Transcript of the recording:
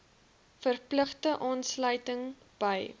verpligte aansluiting by